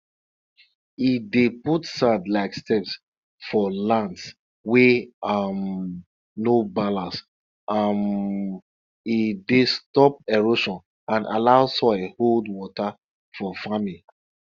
when you dey give de animal food everytime de amount of milk you go get from de animal and em quality go better